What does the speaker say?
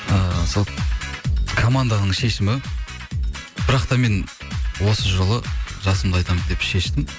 ыыы сол команданың шешімі бірақ та мен осы жолы жасымды айтамын деп шештім